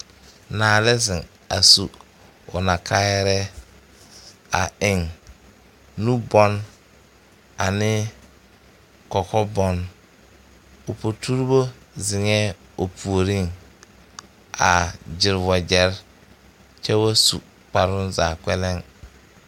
Naa la ziŋ a su o naa kaayɛrɛɛ a eŋ nubɔg ane kɔkɔ bɔg o poturebo ziŋɛɛ o puoriŋ a gyire wagyɛre kyɛ wa su kparoŋ zaa kpɛlɛŋ.